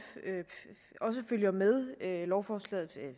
følger med lovforslaget er